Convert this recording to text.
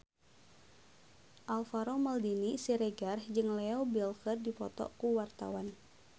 Alvaro Maldini Siregar jeung Leo Bill keur dipoto ku wartawan